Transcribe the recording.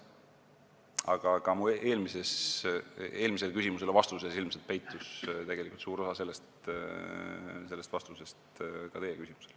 Aga minu vastuses eelmisele küsimusele ilmselt peitus tegelikult suur osa vastusest ka teie küsimusele.